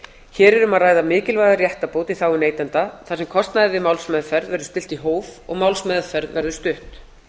um að ræða mikilvæga réttarbót í þágu neytenda þar sem kostnaði við málsmeðferð verður stillt í hóf og málsmeðferð verður stutt